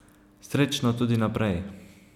Srečno tudi naprej.